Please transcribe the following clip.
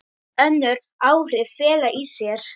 Önnur áhrif fela í sér